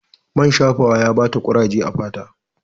Man shafawa ya ba ta kuraje a fata